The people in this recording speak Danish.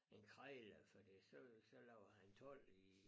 En krejler fordi så så laver han told i